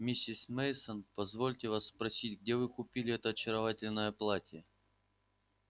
миссис мейсон позвольте вас спросить где вы купили это очаровательное платье